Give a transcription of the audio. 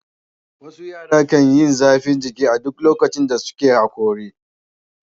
Wasu yara kan yi zafin jiki a duk lokacin da suke haƙori.